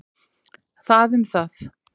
Það um það.